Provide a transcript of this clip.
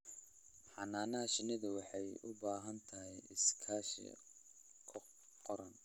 Xannaanada shinnidu waxay u baahan tahay iskaashi qaran.